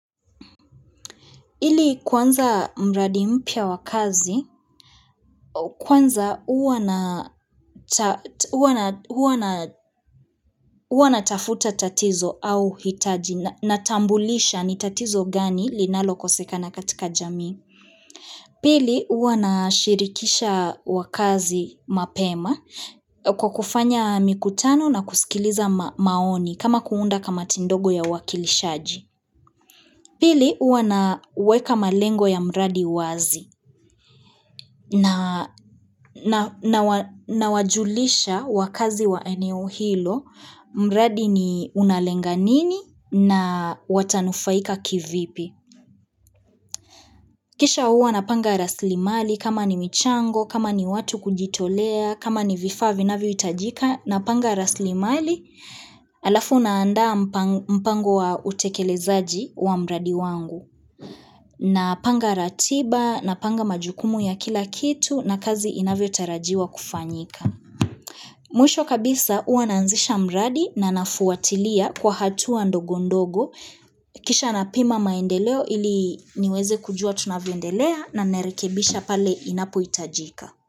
Ili kuanza mradi mpya wa kazi, kwanza huwa na huwa natafuta tatizo au hitaji natambulisha ni tatizo gani linalokosekana katika jamii. Pili huwa nashirikisha wakazi mapema kwa kufanya mikutano na kusikiliza maoni kama kuunda kamati ndogo ya uwakilishaji. Pili huwa naweka malengo ya mradi wazi nawajulisha wakazi wa eneo hilo mradi ni unalenga nini na watanufaika kivipi. Kisha huwa napanga rasilimali kama ni michango, kama ni watu kujitolea, kama ni vifaa vinavyohitajika napanga rasilimali alafu naanda mpango wa utekelezaji wa mradi wangu. Napanga ratiba, napanga majukumu ya kila kitu na kazi inavyotarajiwa kufanyika. Mwisho kabisa huwa naanzisha mradi na nafuatilia kwa hatua ndogo ndogo. Kisha napima maendeleo ili niweze kujua tunavyoendelea na rekebisha pale inapohitajika.